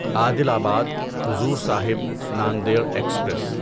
عادل آباد حضور صاحب ناندیڈ ایکسپریس